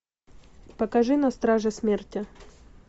покажи на страже смерти